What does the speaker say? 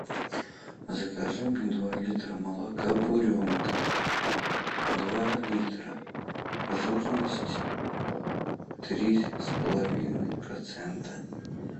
закажи мне два литра молока буренка два литра жирность три с половиной процента